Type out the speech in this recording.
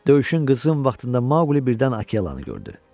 Döyüşün qızğın vaxtında Maqli birdən Akelanı gördü.